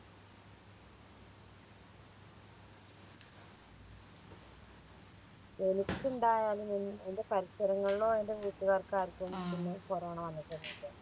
എനിക്കിണ്ടായാലും എൻ എൻറെ പരിസരങ്ങളിലോ എൻറെ വീട്ടുകാർക്കോ ആർക്കൊന്നും കൊറോണ വന്നിട്ടൊന്നും ഇല്ല